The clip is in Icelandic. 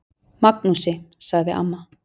Magnúsi, sagði amma.